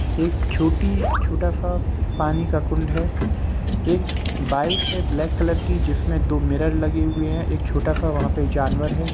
एक छोटी छोटा-सा पानी का कुंड है एक बाइक है ब्लैक कलर की जिसमे दो मिरर लगे हुए है एक छोटा-सा वहाँ पे जानवर है।